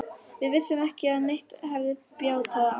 Við vissum ekki að neitt hefði bjátað á.